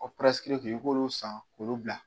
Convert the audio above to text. tun ye, i b'olu san k'olu bila.